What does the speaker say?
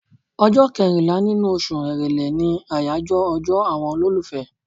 Ọjọ́ kẹrìnlá nínú oṣù Èrèlè ni àyàjọ́ ọjọ́ àwọn olólùfẹ́.